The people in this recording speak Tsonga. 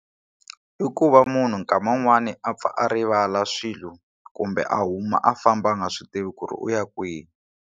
I ku va munhu nkama wun'wani a pfa a rivala swilo kumbe a huma a famba a nga swi tivi ku ri u ya kwihi.